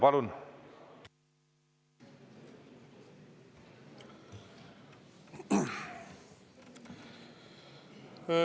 Palun!